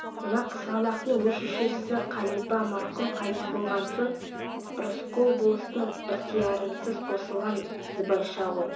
мына қызғалақтың өз шешесі қалипа марқұм қайтыс болған соң рысқұл болыстың ықтиярынсыз қосылған збайша ғой